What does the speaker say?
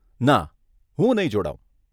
ના, હું નહીં જોડાવ.